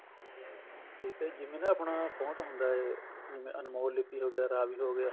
ਠੀਕ ਏ ਜਿਵੇਂ ਨਾ ਆਪਣਾ font ਹੁੰਦਾ ਇਹ ਜਿਵੇਂ ਅਨਮੋਲ ਲਿਪੀ ਹੋ ਗਿਆ ਰਾਵੀ ਹੋ ਗਿਆ